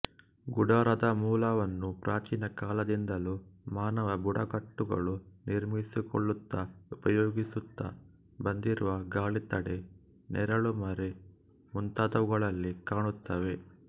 ಗುಡಾರದ ಮೂಲವನ್ನು ಪ್ರಾಚೀನ ಕಾಲದಿಂದಲೂ ಮಾನವ ಬುಡಕಟ್ಟುಗಳು ನಿರ್ಮಿಸಿಕೊಳ್ಳುತ್ತ ಉಪಯೋಗಿಸುತ್ತ ಬಂದಿರುವ ಗಾಳಿತಡೆ ನೆರಳುಮರೆ ಮುಂತಾದವುಗಳಲ್ಲಿ ಕಾಣುತ್ತೇವೆ